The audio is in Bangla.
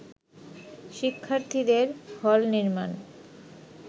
শিক্ষার্থীদের হল নির্মাণ